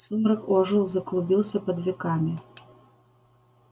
сумрак ожил заклубился под веками